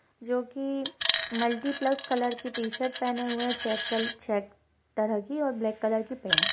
जो कि मल्टीप्लस कलर की टी-शर्ट पहने हुए। चेक कल चेक तरह की और ब्लैक कलर की पैंट ।